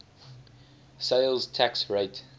sales tax rate